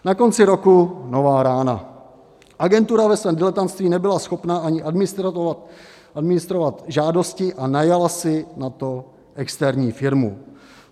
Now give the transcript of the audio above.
Na konci roku nová rána: agentura ve svém diletantství nebyla schopna ani administrovat žádosti a najala si na to externí firmu.